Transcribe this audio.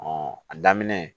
a daminɛ